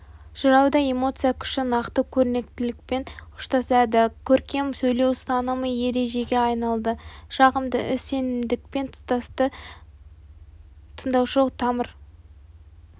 жырауда эмоция күші нақты көрнекілікпен ұштасады көркем сөйлеу ұстанымы ережеге айналды жағымды іс сенімділікпен тұстасты тыңдаушы тамыр